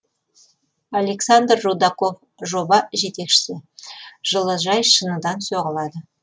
александр рудаков жоба жетекшісі жылыжай шыныдан соғылады